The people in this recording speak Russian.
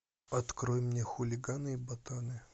открой мне хулиганы и ботаны